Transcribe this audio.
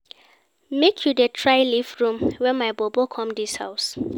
Make you dey try leave room wen my bobo come dis house.